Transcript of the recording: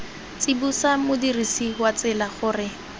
tsibosa modirisi wa tsela gore